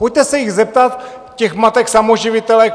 Pojďte se jich zeptat, těch matek samoživitelek.